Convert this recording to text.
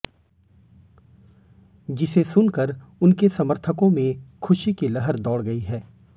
जिसे सुनकर उनके समर्थकों में खुशी की लहर दौड़ गई है